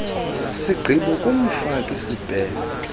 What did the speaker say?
sigqibo kumfaki sibheno